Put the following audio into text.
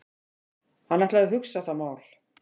Hann ætlaði að hugsa það mál.